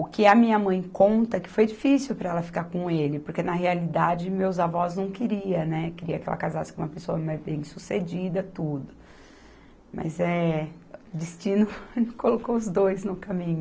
O que a minha mãe conta é que foi difícil para ela ficar com ele, porque, na realidade, meus avós não queriam, né, queriam que ela casasse com uma pessoa mais bem-sucedida, tudo, mas eh, destino colocou os dois no caminho.